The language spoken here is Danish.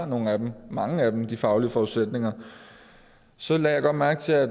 nogle af dem mange af dem har de faglige forudsætninger så lagde jeg godt mærke til at